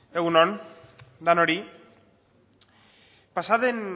egun on denoi pasa den